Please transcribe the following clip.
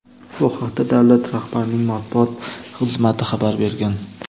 Bu haqda davlat rahbarining matbuot xizmati xabar bergan.